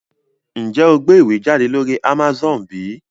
Njé o gbé ìwé jáde lórí Amazone bí?